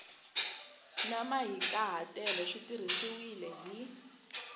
na mahikahatelo swi tirhisiwile hi